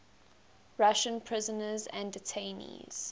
russian prisoners and detainees